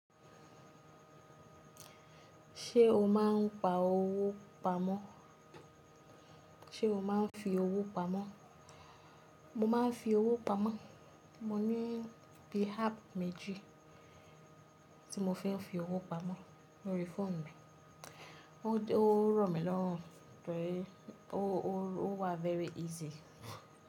Ṣé o máa ń pa owó pamọ́? Ṣé o máa ń fi owó pamọ́? Mo má ń fi owó pamọ́. Mo ní bí i app méjì tí mo fi fi owó pamọ́ lórí fóònù mi. Ó rọ̀ mí lọ́rùn tóri o wa very easy.